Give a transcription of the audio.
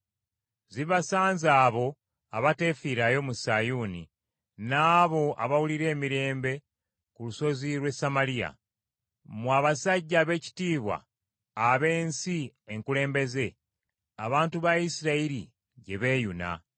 Zibasanze abo abateefiirayo mu Sayuuni, n’abo abawulira emirembe ku lusozi lw’e Samaliya. Mmwe abasajja abeekitiibwa ab’ensi enkulembeze, abantu ba Isirayiri gye beeyuna.